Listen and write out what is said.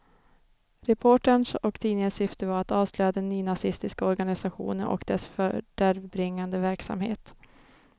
Reporterns och tidningens syfte var att avslöja den nynazistiska organisationen och dess fördärvbringande verksamhet.